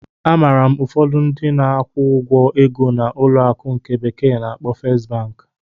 Amaara m ụfọdụ ndị na-akwụ ụgwọ ego na ụlọ akụ ndi bekee na-akpo Fest Banki.